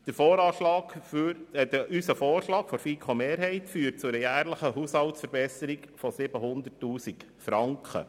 Der Vorschlag der FiKo-Mehrheit führt zu einer jährlichen Haushaltsverbesserung von 700 000 Franken.